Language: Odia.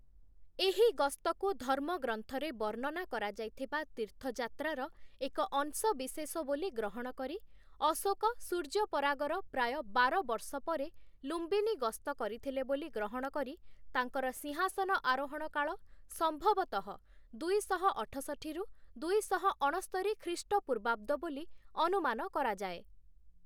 ଏହି ଗସ୍ତକୁ ଧର୍ମଗ୍ରନ୍ଥରେ ବର୍ଣ୍ଣନା କରାଯାଇଥିବା ତୀର୍ଥଯାତ୍ରାର ଏକ ଅଂଶବିଶେଷ ବୋଲି ଗ୍ରହଣ କରି, ଅଶୋକ ସୂର୍ଯ୍ୟପରାଗର ପ୍ରାୟ ବାର ବର୍ଷ ପରେ ଲୁମ୍ବିନୀ ଗସ୍ତ କରିଥିଲେ ବୋଲି ଗ୍ରହଣ କରି, ତାଙ୍କର ସିଂହାସନ ଆରୋହଣ କାଳ ସମ୍ଭବତଃ ଦୁଇଶହ ଅଠଷଠି - ଦୁଇଶହ ଅଣସ୍ତରି ଖ୍ରୀଷ୍ଟପୂର୍ବାବ୍ଦ ବୋଲି ଅନୁମାନ କରାଯାଏ ।